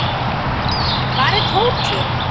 Hvar er Tóti?